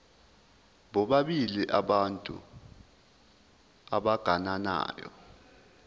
bobabili abantu abagananayo